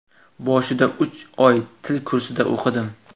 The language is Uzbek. Boshida uch oy til kursida o‘qidim.